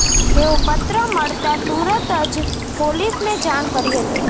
તેઓ પત્ર મળતા તુરત જ પોલીસને જાણ કરી હતી